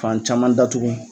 Fan caman datugu.